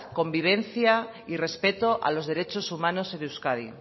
convivencia y respeto a los derechos humanos en euskadi